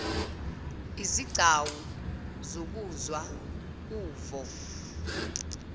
izigcawu zokuzwa uvo